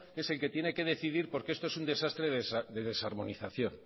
es el que tiene que decidir porque esto es un desastre de desarmonización